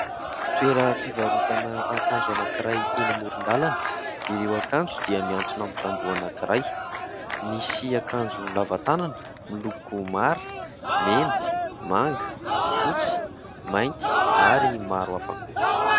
Toeram-pivarotana akanjo anankiray eny amoron-dalana. Ireo akanjo dia mihantona amin'ny tamboho anankiray. Misy akanjo lava tanana miloko mara, mena, manga, fotsy, mainty ary maro hafa koa.